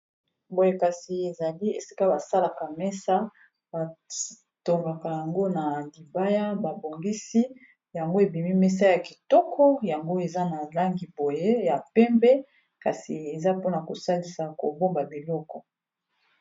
Boye kasi ezali esika basalaka mesa batongaka yango na libaya babongisi yango ebimi mesa ya kitoko yango eza na langi boye ya pembe kasi eza mpona kosalisa kobomba biloko.